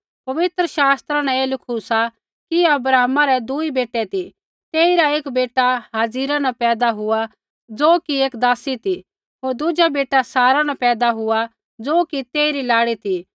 पवित्र शास्त्रा न ऐ लिखू सा कि अब्राहमा रै दुई बेटै ती तेइरा एक बेटा हाजिरा न पैदा हुई ज़ो कि एक दासी ती होर दुज़ा बेटा सारा न पैदा हुई ज़ो कि तेइरी लाड़ी ती